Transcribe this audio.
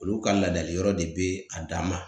Olu ka ladali yɔrɔ de be a dan ma.